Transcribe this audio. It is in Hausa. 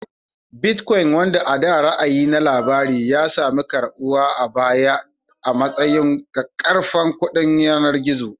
Bitcoin, wanda a da ra'ayi na labari, ya sami karɓuwa a baya a matsayin ƙaƙƙarfan kuɗin yanar gizo